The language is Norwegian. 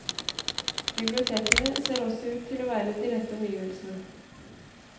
Bibliotekene ser også ut til å være de rette omgivelsene.